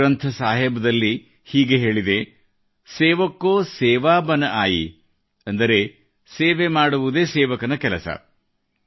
ಗುರುಗ್ರಂಥ ಸಾಹೀಬ್ ದಲ್ಲಿ ಹೀಗೆ ಹೇಳಿದೆ ಸೇವಕ ಕೊ ಸೇವಾ ಬನ ಆಯಿ ಅಂದರೆ ಸೇವೆ ಮಾಡುವುದೇ ಸೇವಕನ ಕೆಲಸ